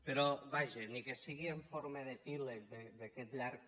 però vaja ni que sigui amb forma d’epíleg d’aquest llarg